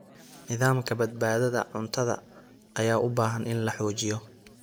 Nidaamka badbaadada cuntada ayaa u baahan in la xoojiyo.